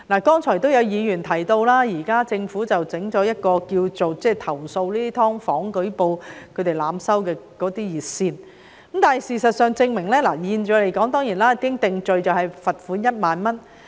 剛才有議員提到，政府設立了一條投訴"劏房"業主濫收費用的舉報熱線，現時一經定罪的罰款為1萬元。